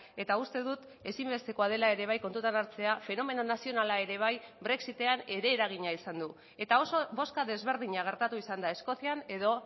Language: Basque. eta uste dut ezinbestekoa dela ere bai kontutan hartzea fenomeno nazionala ere bai brexitean ere eragina izan du eta oso bozka desberdina gertatu izan da eskozian edo